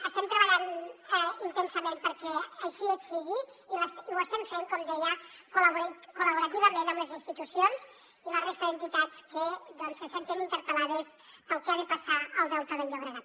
estem treballant intensament perquè així sigui i ho estem fent com deia col·laborativament amb les institucions i la resta d’entitats que se senten interpel·lades pel que ha de passar al delta del llobregat